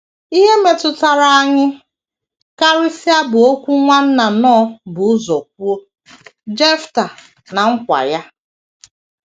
Ihe metụtara anyị karịsịa bụ okwu Nwanna Knorr bu ụzọ kwuo, “ Jefta na Nkwa Ya. ”